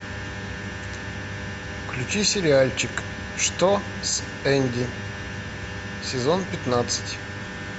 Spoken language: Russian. включи сериальчик что с энди сезон пятнадцать